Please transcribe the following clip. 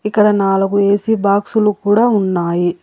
ఇక్కడ నాలుగు ఏ_సీ బాక్సులు కూడా ఉన్నాయి.